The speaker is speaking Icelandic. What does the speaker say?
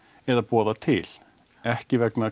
eða boða til ekki vegna